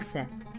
İblisə.